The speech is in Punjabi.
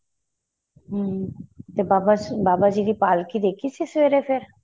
ਹਮ ਤੇ ਬਾਬਾ ਜੀ ਬਾਬਾ ਜੀ ਦੀ ਪਾਲਕੀ ਦੇਖੀ ਸੀ ਸਵੇਰੇ ਫ਼ੇਰ